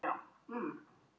Hefur eitthvað. komið fyrir?